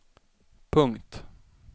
punkt